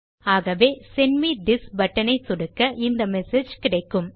ஆகவே send me this button ஐ சொடுக்க இந்த மெசேஜ் கிடைக்கும்